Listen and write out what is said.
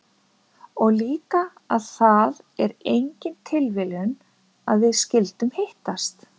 Og líka að það er engin tilviljun að við skyldum hittast?